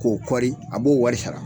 K'o kɔri a b'o wari sara